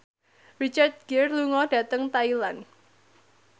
Richard Gere lunga dhateng Thailand